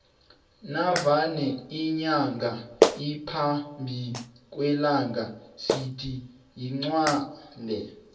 navane inyanga iphambi kwelanga sithi iqgwele